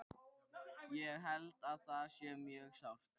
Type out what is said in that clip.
Ég held að það sé mjög sárt.